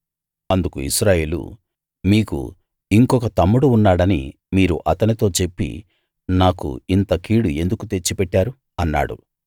అందుకు ఇశ్రాయేలు మీకు ఇంకొక తమ్ముడు ఉన్నాడని మీరు అతనితో చెప్పి నాకు ఇంత కీడు ఎందుకు తెచ్చిపెట్టారు అన్నాడు